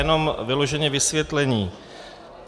Jenom vyloženě vysvětlení.